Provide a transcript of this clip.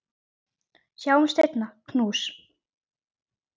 Sjáumst seinna, knús.